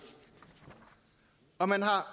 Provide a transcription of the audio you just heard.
og man har